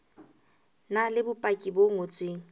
na le bopaki bo ngotsweng